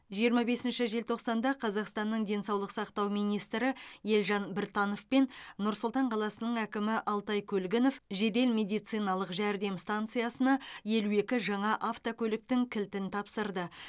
жиырма бесінші желтоқсанда қазақстанның денсаулық сақтау министрі елжан біртанов пен нұр сұлтан қаласының әкімі алтай көлгінов жедел медициналық жәрдем стансиясына елу екі жаңа автокөліктің кілтін тапсырды